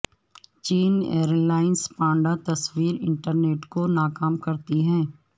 چین airlines panda تصویر internet کو ناکام کرتی ہے